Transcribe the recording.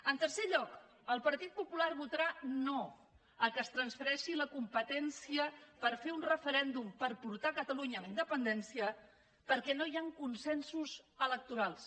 en tercer lloc el partit popular votarà no que es transfereixi la competència per fer un referèndum per portar catalunya a la independència perquè no hi han consensos electorals